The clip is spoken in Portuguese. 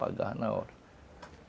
Pagava na hora.